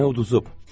Nənə uduzub.